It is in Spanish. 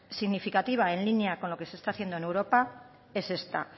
significativa en línea con lo que se está haciendo en europa es esta